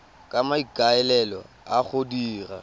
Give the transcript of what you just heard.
ka maikaelelo a go dira